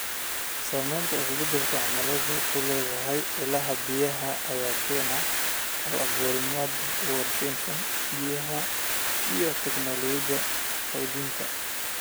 Saamaynta isbeddelka cimiladu ku leedahay ilaha biyaha ayaa keenaya hal-abuurnimada dib-u-warshadaynta biyaha iyo tignoolajiyada kaydinta.